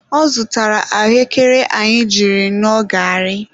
Ọ zụtara ahụekere anyị jiri ṅụọ garị.